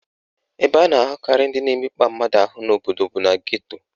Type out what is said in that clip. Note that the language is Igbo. Ebe a na-ahụkarị ndị na-emekpa mmadụ ahụ n'obodo bụ na geto